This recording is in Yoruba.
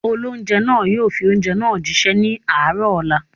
Olóunjẹ́ náà yóò fi oúnjẹ náà jí ṣẹ́ ní àárọ̀ ọ̀la